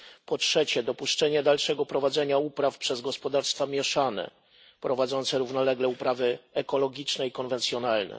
Po trzecie, dopuszczenie dalszego prowadzenia upraw przez gospodarstwa mieszane prowadzące równolegle uprawy ekologiczne i konwencjonalne.